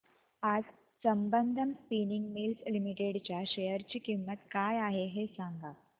आज Sambandam spinning mills limited च्या share ची किंमत काय आहे हे सांगा